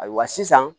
Ayiwa sisan